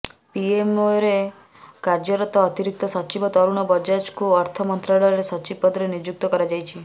ପିଏମଓରେ କାର୍ଯ୍ୟରତ ଅତିରିକ୍ତ ସଚିବ ତରୁଣ ବଜାଜଙ୍କୁ ଅର୍ଥ ମନ୍ତ୍ରଣାଳୟର ସଚିବ ପଦରେ ନିଯୁକ୍ତ କରାଯାଇଛି